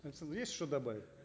александр есть что добавить